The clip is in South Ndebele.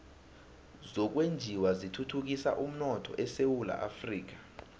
zokwenjiwa zithuthukisa umnotho esewula afrika